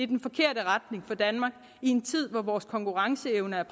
den forkerte retning for danmark i en tid hvor vores konkurrenceevne er